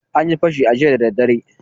An yi fashi jiya dara dare.